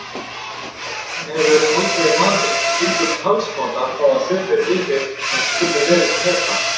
Hún hefur aldrei vanist slíkum talsmáta þó að sumir vinir hans kunni vel að meta.